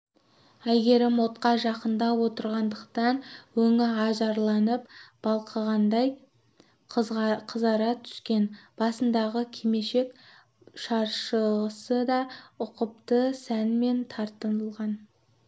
әйгерім отқа жақындап отырғандықтан өңі ажарланып балқығандай қызара түскен басындағы кимешек шаршысы да ұқыпты сәнмен тартылған